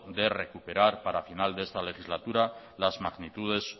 de recuperar para final de esta legislatura las magnitudes